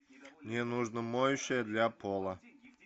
мне нужно моющее для пола